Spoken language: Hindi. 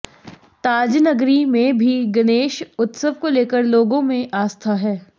ताजनगरी में भी गणेश उत्सव को लेकर लोगों में आस्था है